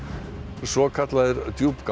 svokallaðir